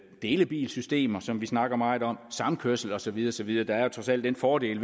delebilsystemer som vi snakker meget om samkørsel og så videre og så videre der er jo trods alt den fordel